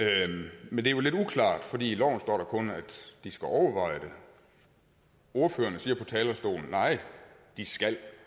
men det er jo lidt uklart for i loven står der kun at de skal overveje det ordførerne siger på talerstolen nej de skal